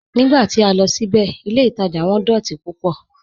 Nígbà tí a lọ síbẹ̀, ilẹ̀ Ìtaja wọn dọ̀tí púpọ̀"